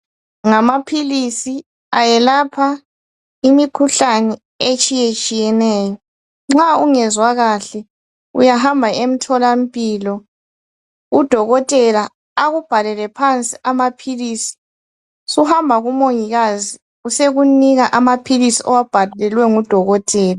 Ngamaphilisi, ayelapha imikhuhlane etshiyetshiyeneyo. Nxa ungezwa kahle, uyahamba emtholampilo, udokotela akubhalele phansi amaphilisi, suhamba kumongikazi, usekunika amaphilisi owabhalelwe ngudokotela.